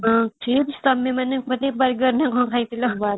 chips ତମେମାନେ ମାନେ burger ନା କଣ ଖାଇଥିଲ